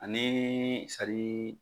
Ani sari